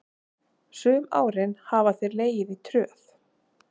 Sum árin hafa þeir legið í tröð.